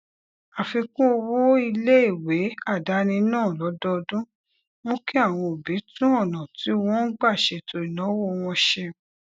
àfikún owó iléèwé àdáni náà lódọọdún mú kí àwọn òbí tún ònà tí wọn ń gbà ṣètò ìnáwó wọn ṣe